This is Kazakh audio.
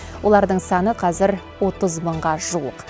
олардың саны қазір отыз мыңға жуық